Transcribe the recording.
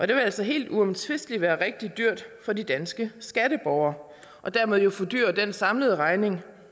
det vil altså helt uomtvisteligt være rigtig dyrt for de danske skatteborgere og dermed fordyre den samlede regning